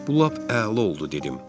Bu lap əla oldu dedim.